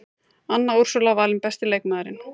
Anna Úrsúla valin besti leikmaðurinn